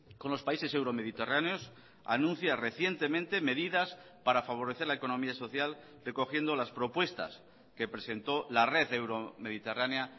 con los países euro mediterráneos anuncia recientemente medidas para favorecer la economía social recogiendo las propuestas que presentó la red euro mediterránea